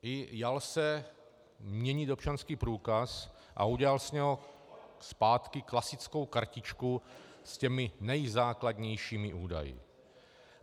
I jal se měnit občanský průkaz a udělal z něho zpátky klasickou kartičku s těmi nejzákladnějšími údaji.